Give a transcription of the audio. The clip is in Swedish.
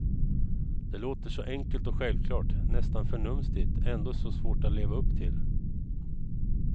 Det låter så enkelt och självklart, nästan förnumstigt, ändå så svårt att leva upp till.